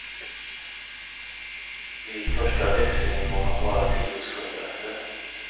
Vid första växlingen var han bara tio sekunder efter.